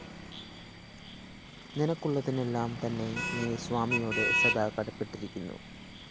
നിനക്കുള്ളതിനെല്ലാം തന്നെ നീ സ്വാമിയോട്‌ സദാ കടപ്പെട്ടിരിക്കുന്നു